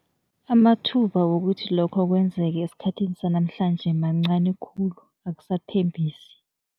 Amathuba wokuthi lokho kwenzeke esikhathini sanamhlanje mancani khulu akusathembisi.